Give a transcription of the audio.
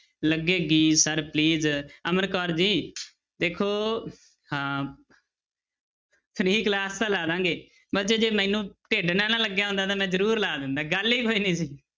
ਲੱਗੇਗੀ sir please Amar Kaur ji ਦੇਖੋ ਹਾਂ free class ਤਾਂ ਲਾ ਦੇਵਾਂਗੇ ਬੱਚੇ ਜੇ ਮੈਨੂੰ ਢਿੱਡ ਨਾ ਨਾ ਲੱਗਿਆ ਹੁੰਦਾ ਤਾਂ ਮੈਂ ਜ਼ਰੂਰ ਲਾ ਦਿੰਦਾ ਗੱਲ ਹੀ ਕੋਈ ਨੀ ਸੀ।